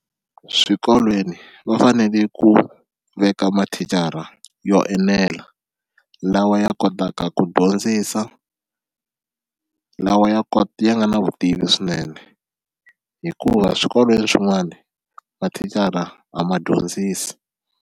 Swikolweni va fanele ku veka mathicara yo enela lawa ya kotaka ku dyondzisa lawa ya kota ya nga na vutivi swinene hikuva swikolweni swin'wani mathicara a ma dyondzisi.